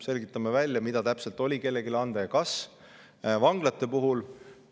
Selgitame välja, mida täpselt oli kellelegi anda ja kas.